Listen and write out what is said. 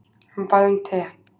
Hann bað um te.